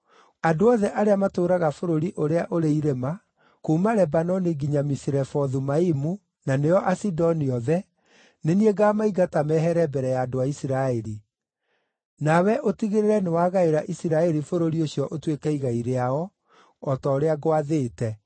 “Andũ othe arĩa matũũraga bũrũri ũrĩa ũrĩ irĩma kuuma Lebanoni nginya Misirefothu-Maimu, na nĩo Asidoni othe, nĩ niĩ ngaamaingata mehere mbere ya andũ a Isiraeli. Nawe ũtigĩrĩre nĩwagaĩra Isiraeli bũrũri ũcio ũtuĩke igai rĩao o ta ũrĩa ngwathĩte,